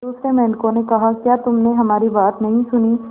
दूसरे मेंढकों ने कहा क्या तुमने हमारी बात नहीं सुनी